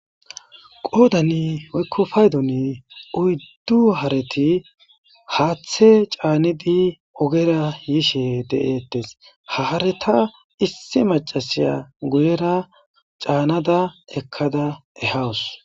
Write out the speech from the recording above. Qoodani woykko paydoni uyddu harethi haaththe caanidi ogera yishe de7eeththes; ha haaretha issi maccasiya guyera caanada ekkada ehawus.